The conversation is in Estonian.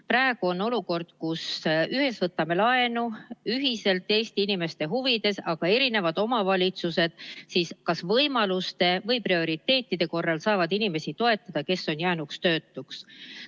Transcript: Praegu on olukord, kus me ühiselt võtame laenu Eesti inimeste huvides, aga eri omavalitsused kas võimaluste või teatud prioriteetide korral saavad neid inimesi toetada, kes on jäänud töötuks.